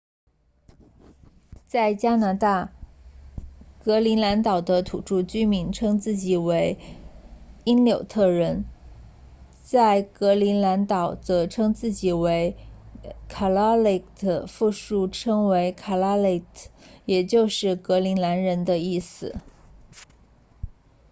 在加拿大格陵兰岛的土著居民称自己为因纽特人在格陵兰岛则称自己为 kalaalleq 复数为 kalaallit 也就是格陵兰人的意思